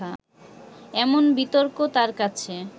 এমন বিতর্ক তার কাছে